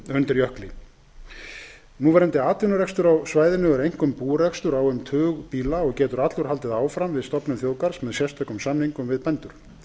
undir jökli núverandi atvinnurekstur á svæðinu er einkum búrekstur á um tug býla og getur allur haldið áfram við stofnun þjóðgarðs með sérstökum samningum við bændur